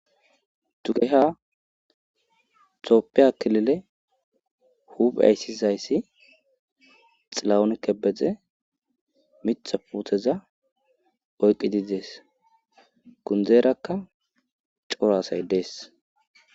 dugeha xopphe akilile huphe ayssizayssi xilawonke bedze mitha puutheza oyqi didees kundzeerakka coro asay dees